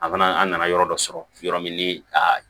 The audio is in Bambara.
An fana an nana yɔrɔ dɔ sɔrɔ yɔrɔ min ni a